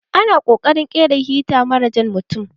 Ana ƙokarin ƙera hita mara jan mutun.